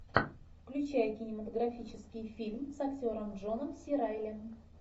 включай кинематографический фильм с актером джоном си райли